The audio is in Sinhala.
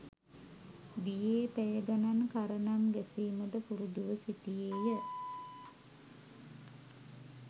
දියේ පැය ගණන් කරණම් ගැසීමට පුරුදුව සිටියේය.